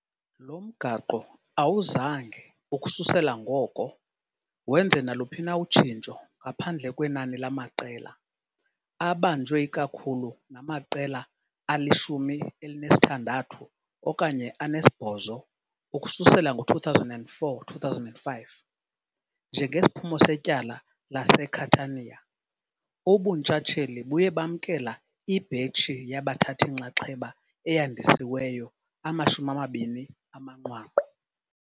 Lo mgaqo awuzange, ukususela ngoko, wenze naluphi na utshintsho ngaphandle kwenani lamaqela, abanjwe ikakhulu namaqela alishumi elinesithandathu okanye anesibhozo, ukususela ngo-2004-05 njengesiphumo setyala laseCatania ubuntshatsheli buye bamkela ibhetshi yabathathi-nxaxheba eyandisiweyo amashumi amabini amanqwanqwa.